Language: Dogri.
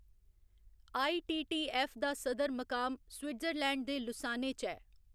आई.टी.टी.ऐफ्फ. दा सदर मकाम स्विजरलैंड दे लुसाने च ऐ।